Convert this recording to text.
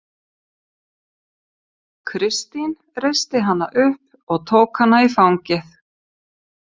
Kristín reisti hana upp og tók hana í fangið.